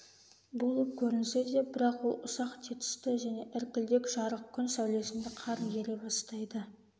болып көрінсе де бірақ ол ұсақ тетісті және іркілдек жарық күн сәулесінде қар ере бастайды